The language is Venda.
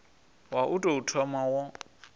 wa u tou thoma wo